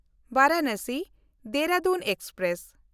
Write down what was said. ᱵᱟᱨᱟᱱᱟᱥᱤ–ᱫᱮᱦᱨᱟᱫᱩᱱ express